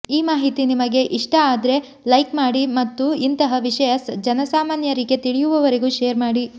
ಈ ಮಾಹಿತಿ ನಿಮಗೆ ಇಸ್ಟ ಆದ್ರೆ ಲೈಕ್ ಮಾಡಿ ಮತ್ತು ಇಂತಹ ವಿಷಯ ಜನಸಾಮಾನ್ಯರಿಗೆ ತಿಳಿಯುವವರೆಗೂ ಶೇರ್ ಮಾಡಿ